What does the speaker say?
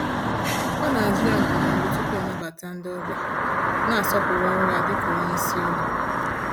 Ọ na-ajụ ya ndụmọdụ tupu ọ nabata ndị ọbịa, na-asọpụrụ ọrụ ya dịka onye isi ụlọ.